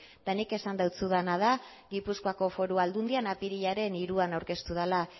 eta nik esan dizudana da gipuzkoako foru aldundian apirilaren hiruan aurkeztu dela